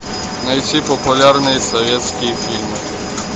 найти популярные советские фильмы